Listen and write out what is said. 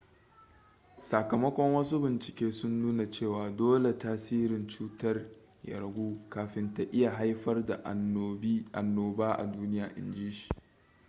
sakamakon wasu bincike sun nuna cewa dole tasirin cutar ya ragu kafin ta iya haifar da annoba a duniya in ji shi